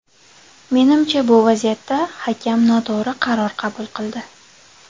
Menimcha, bu vaziyatda hakam noto‘g‘ri qaror qabul qildi.